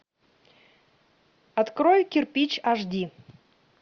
открой кирпич аш ди